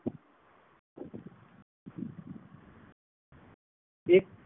એક